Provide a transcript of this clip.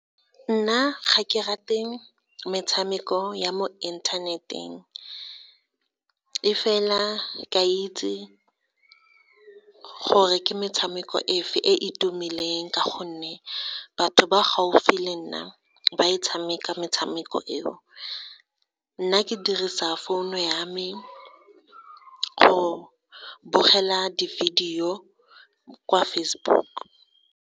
Nna ga ke rate metshameko ya mo inthaneteng, e fela ke a itse gore ke metshameko e fe e e tumileng, ka gonne batho ba gaufi le nna ba e tshameka metshameko eo. Nna ke dirisa founu ya me go bogela di-video kwa Facebook.